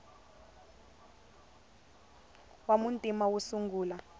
wa muntima wo sungula